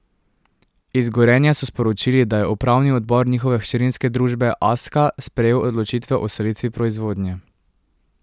Iz Gorenja so sporočili, da je upravni odbor njihove hčerinske družbe Aska sprejel odločitve o selitvi proizvodnje.